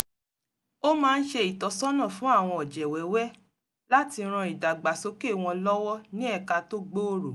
ó máa ń ṣe ìtọ́sọ́nà fun àwọn ọ̀jẹ̀ wẹ́wẹ́ láti ran ìdàgbàsókè wọn lọ́wọ́ ní ẹ̀ka tó gbòòrò